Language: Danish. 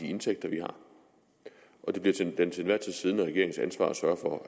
indtægter vi har det bliver den til enhver tid siddende regerings ansvar at sørge for